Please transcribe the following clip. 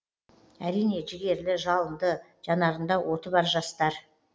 әрине жігерлі жалынды жанарында оты бар жастар